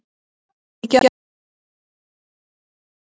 Víkjandi lán eru aftast í skuldaröðinni.